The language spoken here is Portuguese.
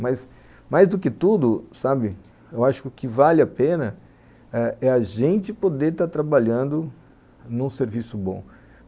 Mas, mais do que tudo, sabe, eu acho que o que vale a pena é eh a gente poder estar trabalhando num serviço bom.